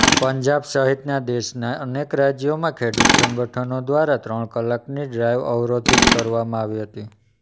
પંજાબ સહિત દેશના અનેક રાજ્યોમાં ખેડૂત સંગઠનો દ્વારા ત્રણ કલાકની ડ્રાઇવ અવરોધિત કરવામાં આવી હતી